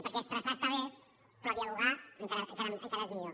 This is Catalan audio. perquè estressar està bé però dialogar encara és millor